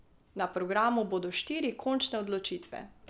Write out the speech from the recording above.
Na programu bodo štiri končne odločitve.